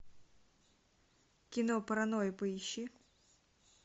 кино паранойя поищи